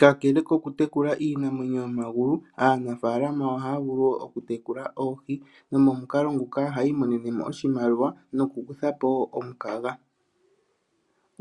Kalele ko ku tekula iinamwenyo yomagulu aanafalama oha ya vulu woo okutekula oohi nomomukalo nguka oha ya imonene oshimaliwa noku kutha po woo omukaga.